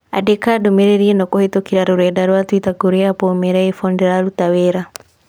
Andĩka ndũmĩrĩri ĩno kũhītũkīra rũrenda rũa tũita kũrī Apple ũmeere iPhone ndĩraruta wĩra